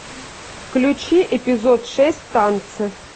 включи эпизод шесть танцы